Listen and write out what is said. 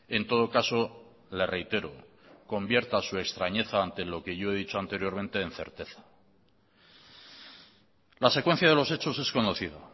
en todo caso le reitero convierta su extrañeza ante lo que yo he dicho anteriormente en certeza la secuencia de los hechos es conocido